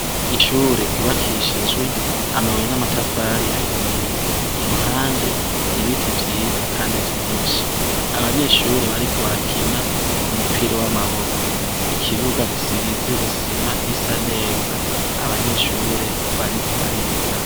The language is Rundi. Ishure ryubakishijwe amabuye n'amatafari ahiye, iruhande ibiti vyiza Kandi vyinshi, abanyeshure bariko barakina umupira w'amaboko, ikibuga gisize isima isa neza, abanyeshure bariko bariga.